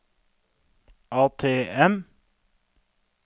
ATM